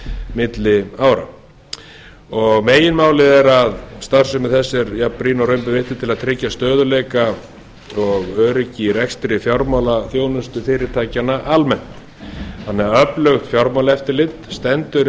milli ára meginmálið er að starfsemi þess er jafnbrýn og raun ber vitni til að tryggja stöðugleika og öryggi í rekstri fjármálaþjónustu fyrirtækjanna almennt þannig að öflugt fjármálaeftirlit stendur í